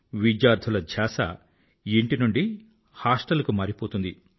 విద్యార్థుల ధ్యాస ఇంటి నుండి హాస్టల్ కి మారిపోతుంది